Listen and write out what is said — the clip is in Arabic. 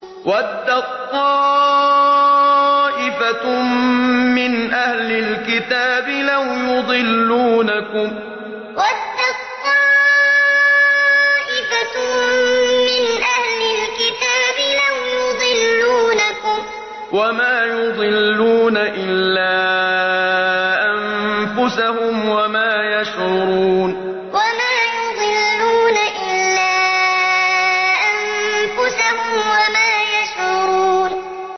وَدَّت طَّائِفَةٌ مِّنْ أَهْلِ الْكِتَابِ لَوْ يُضِلُّونَكُمْ وَمَا يُضِلُّونَ إِلَّا أَنفُسَهُمْ وَمَا يَشْعُرُونَ وَدَّت طَّائِفَةٌ مِّنْ أَهْلِ الْكِتَابِ لَوْ يُضِلُّونَكُمْ وَمَا يُضِلُّونَ إِلَّا أَنفُسَهُمْ وَمَا يَشْعُرُونَ